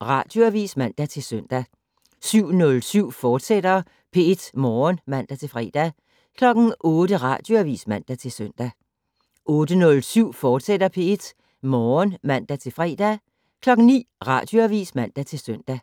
Radioavis (man-søn) 07:07: P1 Morgen, fortsat (man-fre) 08:00: Radioavis (man-søn) 08:07: P1 Morgen, fortsat (man-fre) 09:00: Radioavis (man-søn)